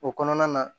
O kɔnɔna na